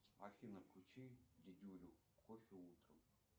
афина включи дедюлю кофе утром